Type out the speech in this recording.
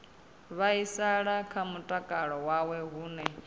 vhaisala kha mutakalo wawe hune